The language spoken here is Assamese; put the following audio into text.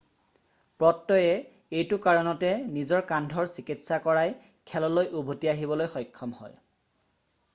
পত্ৰয়ে এইটো কাৰণতে নিজৰ কান্ধৰ চিকিৎসা কৰাই খেললৈ উভতি আহিবলৈ সক্ষম হয়